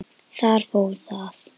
Þar fór það.